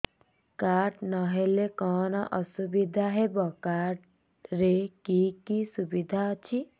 card ନହେଲେ କଣ ଅସୁବିଧା ହେବ କାର୍ଡ ରେ କି କି ସୁବିଧା ଅଛି